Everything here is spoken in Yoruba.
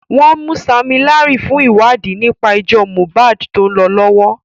Wọ́n mú Sammy Larry fún ìwádìí nípa ẹjọ́ Mohbad tó ń lọ lọ́wọ́.